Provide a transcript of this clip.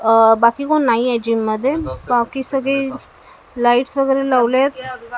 अह बाकी कोण नाहीये जिम मध्ये बाकी सगळे लाइट्स वगैरे लावले आहेत.